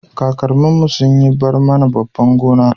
kakannin mu sun yi barmana babban gona